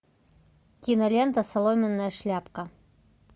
кинолента соломенная шляпка